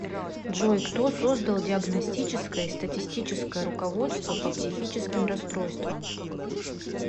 джой кто создал диагностическое и статистическое руководство по психическим расстройствам